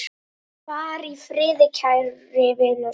Far í friði, kæri vinur.